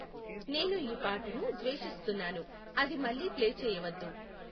నేను ఈ పాటను ద్వేషిస్తున్నాను అది మళ్లీ ప్లే చేయవద్దు